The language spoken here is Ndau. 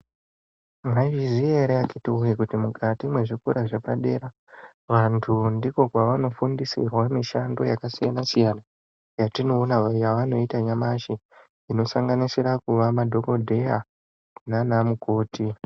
Mwaizviziya ere akiti woye kuti mukati mwezvikora zvepadera vantu ndiko kwavanofundisirwa mishando yakasiyana siyana yatinoona yavanoita nyamashi inosanganisira kuva madhokodheya nana mukoti.